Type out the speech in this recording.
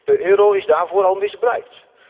De euro is daarvoor al misbruikt.